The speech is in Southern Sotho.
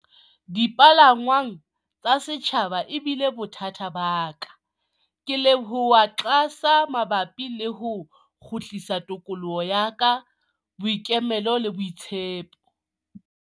Dipalangwang tsa setjhaba ebile bothata ba ka. Ke leboha QASA mabapi le ho kgutlisa tokoloho ya ka, boikemelo le boitshepo.